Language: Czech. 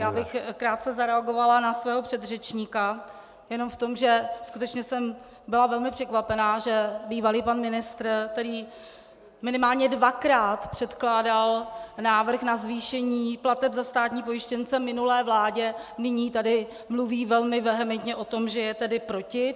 Já bych krátce zareagovala na svého předřečníka jenom v tom, že skutečně jsem byla velmi překvapená, že bývalý pan ministr, který minimálně dvakrát předkládal návrh na zvýšení plateb za státní pojištěnce minulé vládě, nyní tady mluví velmi vehementně o tom, že je tedy proti.